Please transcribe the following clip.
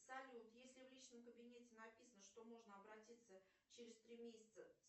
салют если в личном кабинете написано что можно обратиться через три месяца